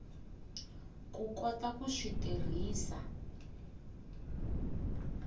ku kota ku swi tirhisa